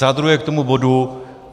Za druhé k tomu bodu.